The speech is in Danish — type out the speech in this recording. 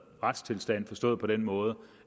retstilstand forstået på den måde